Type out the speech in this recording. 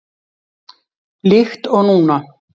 Líkt og núna.